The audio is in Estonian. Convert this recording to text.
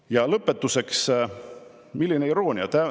Ja lõpetuseks – milline iroonia!